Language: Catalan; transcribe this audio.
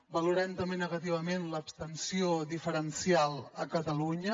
valorem també negativament l’abstenció diferencial a catalunya